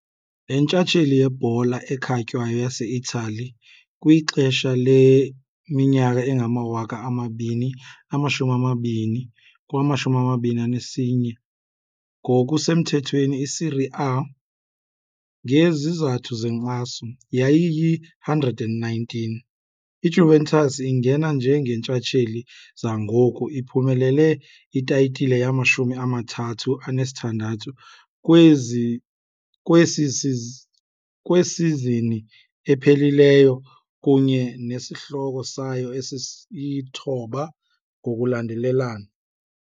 leNtshatsheli yeBhola ekhatywayo yaseItali kwixesha leminyaka engama-2020-21, ngokusemthethweni "iSerie A" ngezizathu zenkxaso, yayiyi-119. IJuventus ingena njengeentshatsheli zangoku, iphumelele itayitile yamashumi amathathu anesithandathu kwesizini ephelileyo kunye nesihloko sayo esesithoba ngokulandelelana.